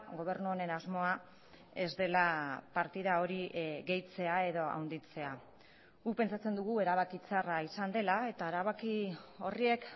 gobernu honen asmoa ez dela partida hori gehitzea edo handitzea guk pentsatzen dugu erabaki txarra izan dela eta erabaki horrek